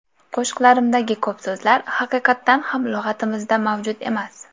Qo‘shiqlarimdagi ko‘p so‘zlar haqiqatan ham lug‘atimizda mavjud emas.